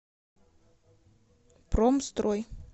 промстрой